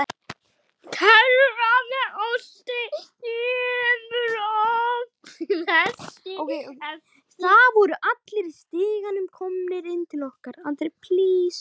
Það voru allir í stigaganginum komnir inn til okkar.